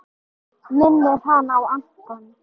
Minnir hana á Anton!